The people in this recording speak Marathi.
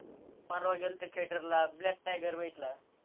परवा गेल्तो theatre ला black tiger बघितला